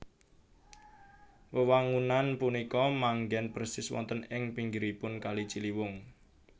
Wewangunan punika manggen persis wonten ing pinggiripun kali Ciliwung